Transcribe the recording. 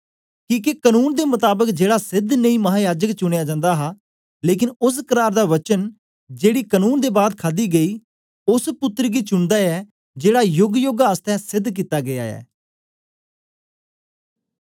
किके कनून दे मताबक जेड़ा सेध नेई महायाजक चुनयां जन्दा ऐ लेकन ओस करार दा वचन जेड़ी कनून दे बाद खादी गेई ओस पुत्तर गी चुनदा ऐ जेड़ा योगयोग आसतै सेध कित्ता गीया ऐ